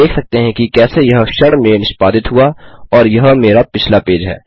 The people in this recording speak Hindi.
आप देख सकते हैं कि कैसे यह क्षण में निष्पादित हुआ और यह मेरा पिछला पेज है